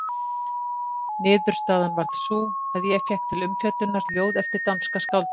Niðurstaðan varð sú að ég fékk til umfjöllunar ljóð eftir danska skáldið